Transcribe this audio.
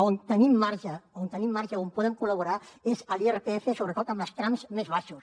on tenim marge on tenim marge on podem col·laborar és a l’irpf sobretot amb els trams més baixos